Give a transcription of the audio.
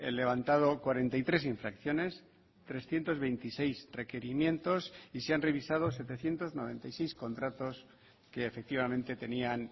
levantado cuarenta y tres infracciones trescientos veintiséis requerimientos y se han revisado setecientos noventa y seis contratos que efectivamente tenían